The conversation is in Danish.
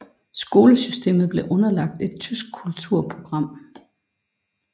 Skolesystemet blev underlagt et tysk kulturprogram